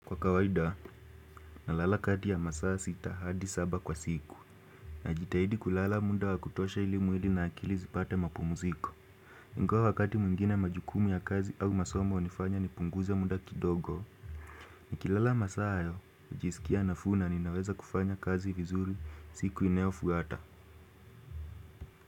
Kwa kawaida, na lala kati ya masaa sita hadi saba kwa siku. Najitahidi kulala muda wakutosha ili mwili na akili zipate mapumziko. Ingawa wakati mwingine majukumu ya kazi au masomo hunifanya nipunguza muda kidogo. Nikilala masaa hayo, hujisikia nafuu na ninaweza kufanya kazi vizuri siku inayofuata.